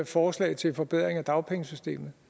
forslag til forbedringer af dagpengesystemet